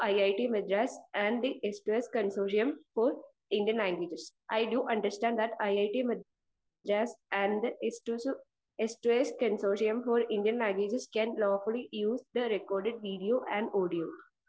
speaker 1 it Madras and its consortium for Indian languages I do understand that it Madras and Indian languages can lawfully use record audio and video